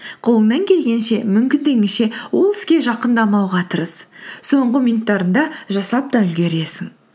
қолыңнан келгенше мүмкіндігіңше ол іске жақындамауға тырыс соңғы минуттарында жасап та үлгересің